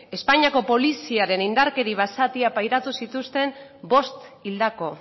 espainiako poliziaren indarkeri basatia pairatu zituzten bost hildako